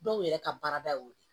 Dɔw yɛrɛ ka baarada y'o ye